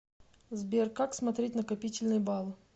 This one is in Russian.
сбер как смотреть накопительные баллы